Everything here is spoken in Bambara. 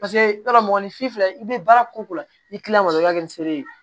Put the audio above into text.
Paseke yɔrɔ mɔgɔninfin filɛ i bɛ baara ko la i tilala o la dɔrɔn i b'a kɛ feere ye